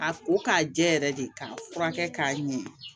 A ko k'a jɛ yɛrɛ de k'a furakɛ k'a ɲɛ